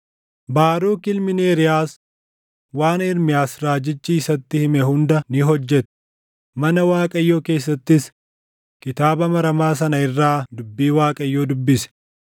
Baaruk ilmi Neeriyaas waan Ermiyaas raajichi isatti hime hunda ni hojjete; mana Waaqayyoo keessattis kitaaba maramaa sana irraa dubbii Waaqayyoo dubbise.